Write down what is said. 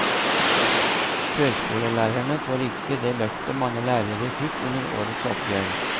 Førskolelærerne får ikke det løftet mange lærere fikk under årets oppgjør.